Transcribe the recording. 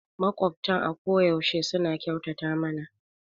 Maƙwabtan a koyaushe suna kyautata mana